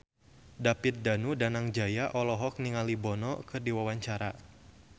David Danu Danangjaya olohok ningali Bono keur diwawancara